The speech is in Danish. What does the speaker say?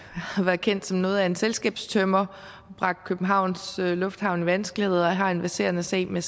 har været kendt som noget af en selskabstømmer har bragt københavns lufthavn i vanskeligheder og har en verserende sag med